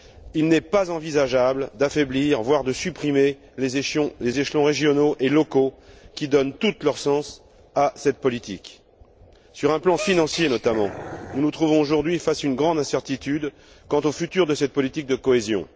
Il n'est pas envisageable d'affaiblir, voire de supprimer, les échelons régionaux et locaux qui donnent tout leur sens à cette politique. Sur le plan financier notamment, nous nous trouvons aujourd'hui face à une grande incertitude quant à l'avenir de cette politique de cohésion.